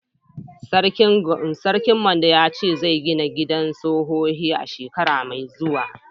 Sarkin Mando ya ce zai gina gidan sohohi shekara mai zuwa.